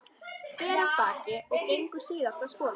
Fer af baki og gengur síðasta spölinn.